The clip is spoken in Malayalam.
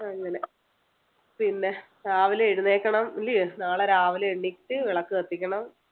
അങ്ങനെ പിന്നെ രാവിലെ എഴുന്നേൽക്കണം ഇല്ല്യോ നാളെ രാവിലെ എണീറ്റ് വിളക്ക് കത്തിക്കണം